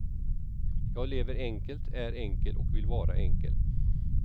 Jag lever enkelt, är enkel och vill vara enkel.